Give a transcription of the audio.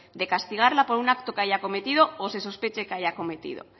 de castigarla por un acto que haya cometido o se sospeche que haya cometido